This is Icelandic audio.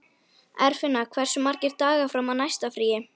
Eirfinna, hversu margir dagar fram að næsta fríi?